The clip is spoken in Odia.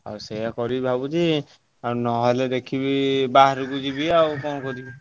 ଆଉ ସେଇଆ କରିବି ଭାବୁଛି ଆଉ ନହେଲେ ଦେଖିବି ବାହାରକୁ ଯିବି ଆଉ କଣ କରିବି।